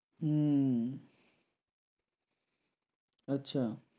হুম আচ্ছা